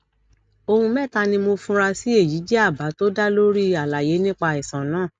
ohun mẹta ni mo fura sí èyí jẹ àbá tó dá lórí àlàyé nípa àìsàn náà